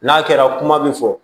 N'a kɛra kuma min fɔ